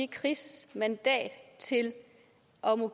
kris og